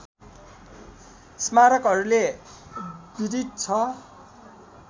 स्मारकहरूले विदित छ